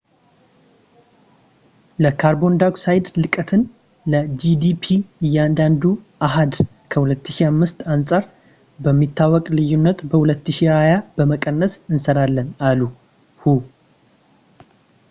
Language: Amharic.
"የካርቦን ዳይኦክሳይድ ለቀትን ለgdp እያንዳንዱ አሃድ ከ2005 አንጻር በሚታወቅ ልዩነት በ2020 ለመቀነስ እንሰራለን፣ አለ ሁ።